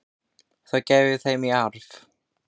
Það gef ég þeim í arf.